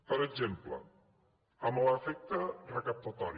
per exemple en l’efecte recaptatori